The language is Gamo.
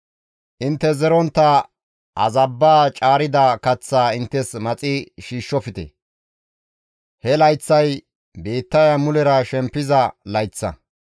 Intte zerontta azabba caarida kaththaa inttes maxi shiishshofte; he layththay biittaya mulera shempiza layththa.